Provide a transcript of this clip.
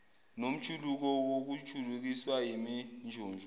nomjuluko wokujulukiswa yiminjunju